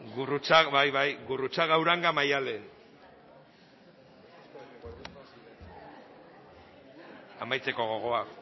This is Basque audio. bai bai gurruchaga uranga maiddalen amaitzeko gogoak